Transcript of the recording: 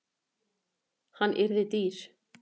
Hann yrði dýr.